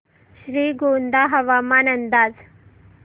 श्रीगोंदा हवामान अंदाज